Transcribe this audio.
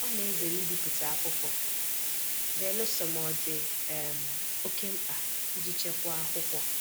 Ọ na-ezere ibipụta akwụkwọ belụsọ ma ọ dị um oke mkpa iji chekwaa akwụkwọ.